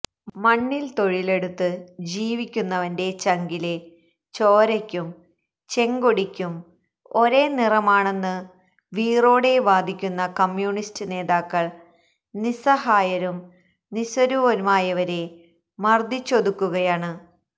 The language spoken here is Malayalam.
മണ്ണില് തൊഴിലെടുത്ത് ജീവിക്കുന്നവന്റെ ചങ്കിലെ ചോരയ്ക്കും ചെങ്കൊടിയ്ക്കും ഒരേ നിറമാണെന്ന് വീറോടെ വാദിക്കുന്ന കമ്യൂണിസ്റ്റ് നേതാക്കള് നിസ്സഹായരും നിസ്വരുമായവരെ മര്ദ്ദിച്ചൊതുക്കുകയാണ്